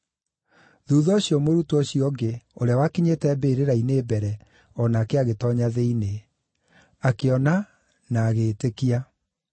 Thuutha ũcio mũrutwo ũcio ũngĩ, ũrĩa wakinyĩte mbĩrĩra-inĩ mbere, o nake agĩtoonya thĩinĩ. Akĩona na agĩĩtĩkia.